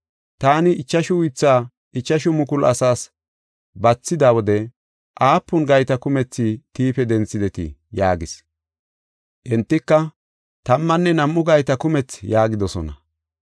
Taani ichashu uythaa ichashu mukulu asaas bathida wode aapun gayta kumethi tiife denthidetii?” yaagis. Entika, “Tammanne nam7u gayta kumethi” yaagidosona.